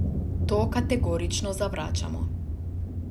To kategorično zavračamo.